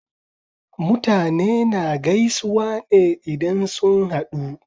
Mutane na gaisuwa ne idan sun haɗu